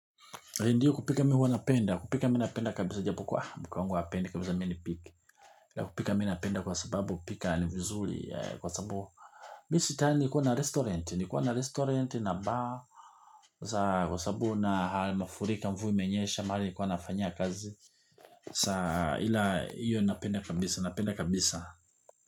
Ndiyo kupika mimi huwa napenda, kupika mimi na napenda kabisa japo kuwa mke wangu hapendi kabisa mimi nipike kupika mimi napenda kwa sababu kupika ni vizuri kwa sababu mimi si tayari nilikuwa na restaurant, nilikuwa na restaurant na bar kwa sababu na mafuriko ya mvua yamenyesha mahali nilikuwa nafanyaia kazi. Kwa sababu ila iyo napenda kabisa, napenda kabisa.